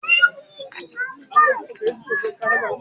Bísí ló ń sọ̀rọ̀ rẹ lẹ́yìn.